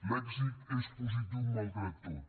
l’èxit és positiu malgrat tot